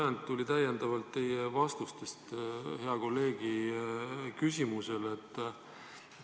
Minu küsimuse ajendiks oli teie vastus hea kolleegi küsimusele.